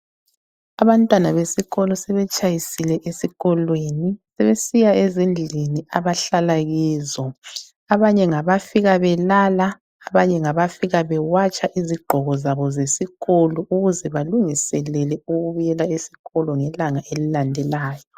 Abantwana besikolo sebetshayisile esikolweni, sebesiya ezindlini abahlala kizo. Abanye ngabafika belala , abanye ngabafika bewatsha izigqoko zabo zesikolo ukuze balungiselele ukubuyela esikolo ngelanga elilandelayo.